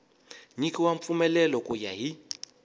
nyikiwa mpfumelelo ku ya hi